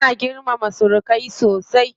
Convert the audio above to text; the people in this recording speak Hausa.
Ana girmama surumai sosai.